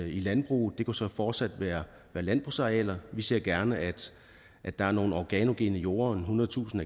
i landbruget og det kunne så fortsat være landbrugsarealer vi ser gerne at der er nogle organogene jorder ethundredetusind